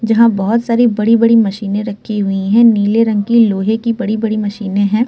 जहाँ बोहोत सारी बड़ी-बड़ी मशीने रखी हुई है। नीले रंग की लोहे की बड़ी-बड़ी मशीने हैं।